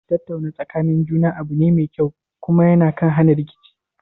Tattauna tsakanin juna abu ne mai kyau, kuma ya kan hana rikici